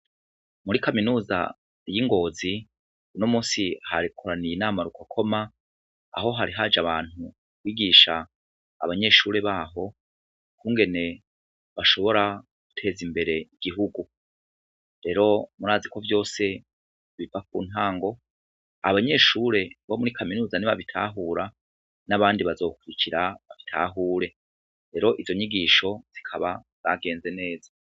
Muri kaminuza y'i Ngozi uno musi hakoraniye inama rukokoma aho hari haje abantu kwigisha abanyeshure baho ukungene bashobora guteza imbere igihugu, rero murazi ko vyose biva ku ntango, abanyeshure bo muri kaminuza nibabitahura n'abandi bazokurikira babitahure, rero izo nyigisho zikaba zagenze neza.